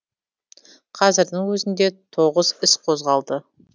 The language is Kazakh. қазірдің өзінде тоғыз іс қозғалды